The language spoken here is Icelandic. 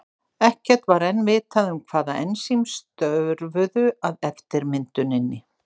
Ekkert var enn vitað um hvaða ensím störfuðu að eftirmynduninni.